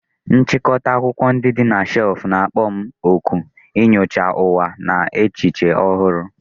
Nchịkọta akwụkwọ ndị dị na shelf na-akpọ m òkù inyocha ụwa na echiche ọhụrụ.